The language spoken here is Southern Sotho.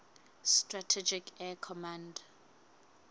strategic air command